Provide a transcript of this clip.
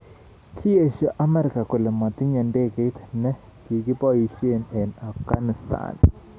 Kiesio Amerika kole matinye ndegeit ne kikiboisie eng Afkanistan.